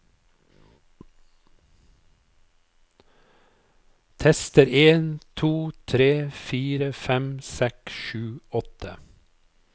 Tester en to tre fire fem seks sju åtte